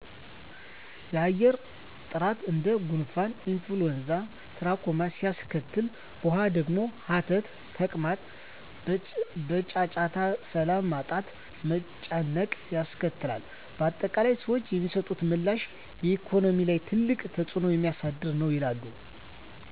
የአየር ጥራት እንደ ጉንፍን ኢንፍሎይዛ ትራኮማ ሲያስከትል በዉሃ ደግሞ ሀተት ተቅማጥ በጫጫታ ሰላም ማጣት መጨነቅ ያስከትላል በአጠቃላይ ሰዎች የሚሰጡት ምላሽ በኢኮኖሚ ላይ ትልቅ ተፅዕኖ የሚያሳድር ነዉ ይላሉ